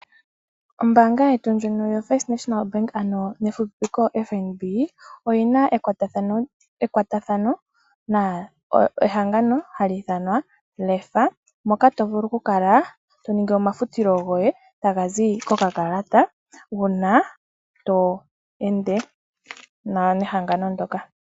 Ombaanga yetu ndjono yoFirst National Bank hayi fupipikwa FNB, oyi na ekwatathano nehangano hali ithanwa Lefa, moka to vulu okukala to ningi omafutilo goye taga zi kokakalata uuna to ende nehangano ndyoka.